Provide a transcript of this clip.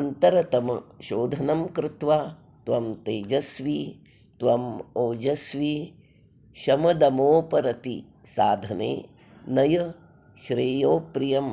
अन्तरतम शोधनं कृत्वा त्वं तेजस्वी त्वं ओजस्वी शमदमोपरति साधने नय श्रेयोप्रियं